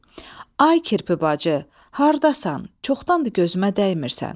Ay kirpi bacı, hardasan, çoxdandı gözümə dəymirsən.